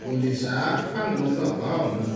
kó lè sá fáwọn ọlọ́pàá ọ̀run